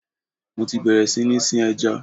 Mo ti bẹ̀rẹ̀ sí ní sin ẹja.